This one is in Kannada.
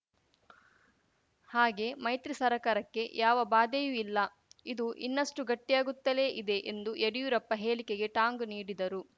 ಹಾಗೇ ಮೈತ್ರಿ ಸರ್ಕಾರಕ್ಕೆ ಯಾವ ಬಾಧೆಯೂ ಇಲ್ಲ ಅದು ಇನ್ನಷ್ಟುಗಟ್ಟಿಯಾಗುತ್ತಲೇ ಇದೆ ಎಂದು ಯಡಿಯೂರಪ್ಪ ಹೇಳಿಕೆಗೆ ಟಾಂಗ್‌ ನೀಡಿದರು